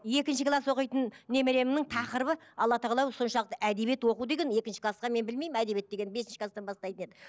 екінші класс оқитын немеремнің тақырыбы алла тағала соншалықты әдебиет оқу деген екінші классқа мен білмеймін әдебиет деген бесінші класстан бастайтын еді